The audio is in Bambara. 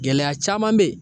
Gɛlɛya caman be yen